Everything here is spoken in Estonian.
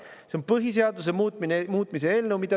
See on põhiseaduse muutmise eelnõu.